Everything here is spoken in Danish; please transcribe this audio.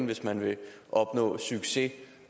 hvis man vil opnå succes